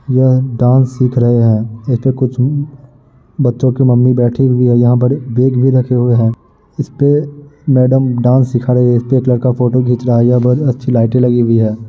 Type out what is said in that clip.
यह डांस सिख रहे हैं। यहाँ पे कुछ बच्चों की मम्मी बैठी हुई हैं। यहाँ पर बड़े बैग भी रखे हुये हैं इस पे मैडम डांस सिखा रही हैं। इसपे एक लडका फोटो खीच रहा है। यहाँ बहुत अच्छी लाइटे लगी हुई हैं।